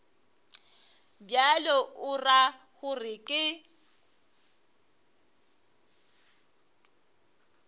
bjalo o ra gore ke